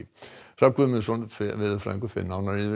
Hrafn Guðmundsson veðurfræðingur fer nánar yfir